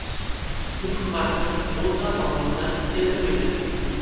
Nutq matni O‘zA tomonidan keltirilgan .